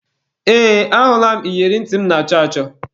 Ee, ahụla m iyeri ntị m na-achọ achọ.